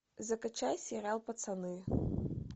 закачай сериал пацаны